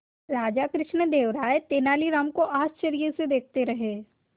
राजा कृष्णदेव राय तेनालीराम को आश्चर्य से देखते रहे